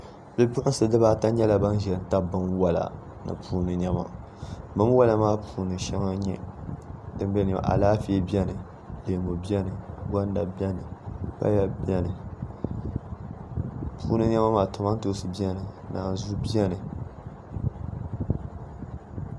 Bipuɣunsi ata nyɛla ban ʒɛ n tabi binwola ni niɛma binwola maa puuni shɛli n nyɛ Alaafee biɛni leemu biɛni gonda biɛni paya biɛni puuni niɛma maa kamantoosi biɛni naanzuu biɛni